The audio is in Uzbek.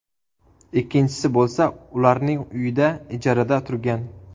Ikkinchisi bo‘lsa ularning uyida ijarada turgan.